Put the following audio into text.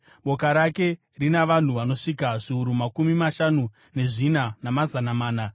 Boka rake rina vanhu vanosvika zviuru makumi mashanu nezvina, namazana mana.